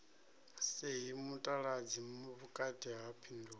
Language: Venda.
sie mutaladzi vhukati ha phindulo